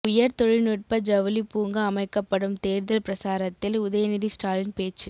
உயர் தொழில்நுட்ப ஜவுளி பூங்கா அமைக்கப்படும் தேர்தல் பிரசாரத்தில் உதயநிதி ஸ்டாலின் பேச்சு